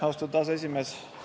Austatud aseesimees!